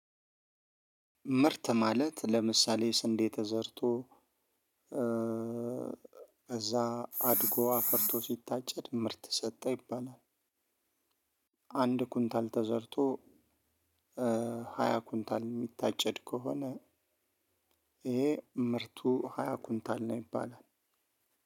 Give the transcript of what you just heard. ምርት ማለት ለምሳሌ ስንዴ ተዘርቶ ከዛ አድጎ አፍርቶ ሲታጨድ ምርት ሰጠ ይባላል። አንድ ኩንታል ተዘርቶ ሃያ ኩንታል እሚታጨድ ከሆነ። ይሄ ምርቱ ሃያ ኩንታል ነው ይባላል።